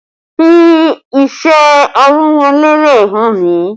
Fi iṣẹ́ amurele rẹ hàn mí!